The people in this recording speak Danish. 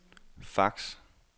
fax